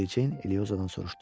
Mericeyn Eliyosadan soruşdu.